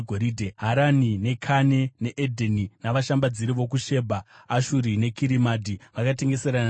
“ ‘Harani, Kane neEdheni navashambadziri vokuShebha, Ashuri neKirimadhi vakatengeserana newe.